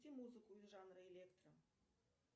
включи музыку из жанра электро